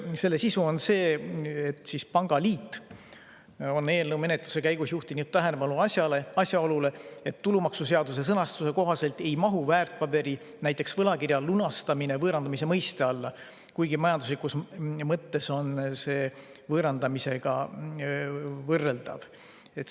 Selle sisu on see, et pangaliit on eelnõu menetluse käigus juhtinud tähelepanu asjaolule, et tulumaksuseaduse sõnastuse kohaselt ei mahu väärtpaberi, näiteks võlakirja lunastamine võõrandamise mõiste alla, kuigi majanduslikus mõttes on see võõrandamisega võrreldav.